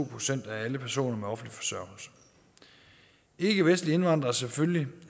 procent af alle personer på offentlig forsørgelse ikkevestlige indvandrere er selvfølgelig